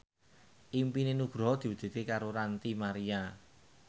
impine Nugroho diwujudke karo Ranty Maria